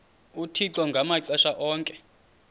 uthixo ngamaxesha onke